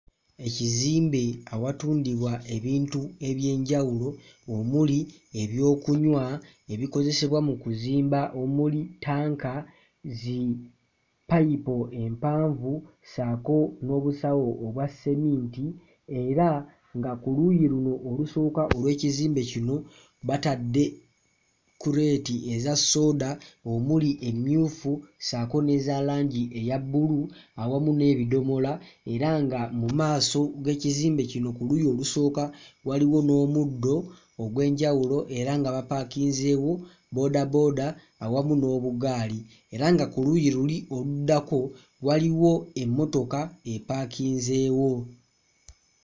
Ekizimbe awatundirwa ebintu eby'enjawulo omuli ebyokunywa, ebikozesebwa mu kuzimba omuli ttanka, zippayipo empanvu ssaako n'obusawo obwa sseminti era nga ku luuyi luno olusooka olw'ekizimbe kino batadde kuleeti eza ssooda omuli emmyufu ssaako n'eza langi eya bbulu awamu n'ebidomola era nga mu maaso g'ekizimbe kino ku luuyi olusooka waliwo n'omuddo ogw'enjawulo era nga bapaakinzeewo bboodabooda awamu n'obugaali era nga ku luuyi luli oluddako waliwo emmotoka epaakinzeewo.